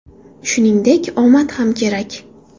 Shuningdek, omad ham kerak.